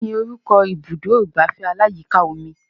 Kí ni orúkọ ibùdó ìgbafẹ́ aláyíká omi